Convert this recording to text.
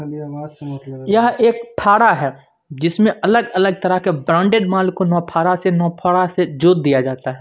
यहां एक फारा है जिसमें अलग अलग तरह के ब्रांडेड मॉल को नौ फारा से नौ फारा से जोत दिया जाता--